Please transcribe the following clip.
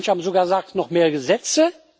manche haben sogar gesagt noch mehr Gesetze